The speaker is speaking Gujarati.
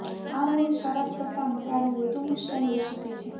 આ મૂળ શરત કરતાં મટાડવું વધુ મુશ્કેલ હોઈ શકે છે